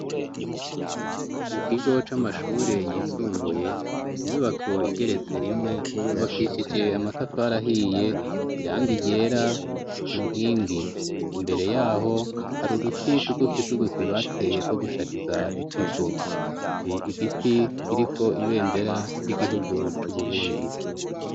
Mu kigo c'amashuri yisumbuye inyubako igeretse rimwe yubakishije amatafari ahiye iranga ryera ku nkingi imbere yaho hari uduti tugufi tugufi bateye two gushariza ikigo hari igiti kiriko ibendera ry'igihugu c'uburundi.